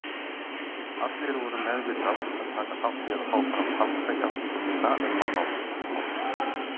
Allir voru meðvitað að taka þátt í að fá fram falska játningu mína um mannsmorð.